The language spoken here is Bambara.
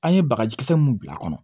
An ye bagaji kisɛ mun bila a kɔnɔ